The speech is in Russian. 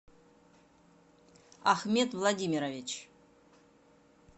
ахмед владимирович